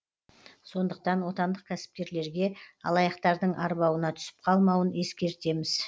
сондықтан отандық кәсіпкерлерге алаяқтардың арбауына түсіп қалмауын ескертеміз